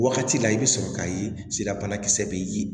Wagati la i bɛ sɔrɔ k'a ye sidabana kisɛ bɛ ye